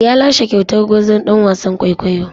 Ya lashe kyautar gwarzon ɗan wasan kwaikwayo.